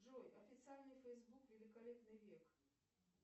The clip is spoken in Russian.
джой официальный фейсбук великолепный век